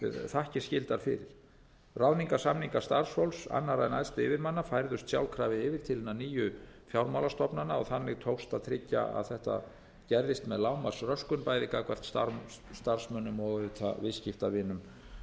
þakkir skyldar fyrir ráðningarsamningar starfsfólks annarra en æðstu yfirmanna færðust sjálfkrafa yfir til hinna nýju fjármálastofnana og þannig tókst að tryggja að þetta gerðist með lágmarks röskun bæði gagnvart starfsmönnum og auðvitað viðskiptavinum